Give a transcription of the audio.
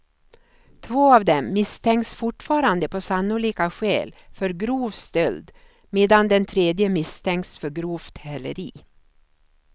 Två av dem misstänks fortfarande på sannolika skäl för grov stöld medan den tredje misstänks för grovt häleri.